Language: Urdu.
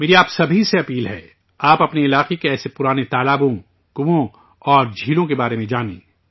میری آپ تمام لوگوں سے اپیل ہے، آپ اپنے علاقے کے ایسے پرانے تالابوں، کنووں اور سرووروں کے بارے میں جانیں